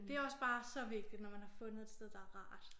Det også bare så vigtigt når man har fundet et sted der rart